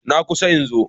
Na kusa in zo.